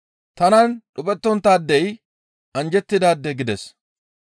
Tanan dhuphettonttaadey anjjettidaade» gides.